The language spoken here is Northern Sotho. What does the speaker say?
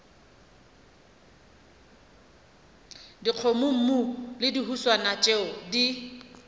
dikgomommuu le dihuswane tšeo di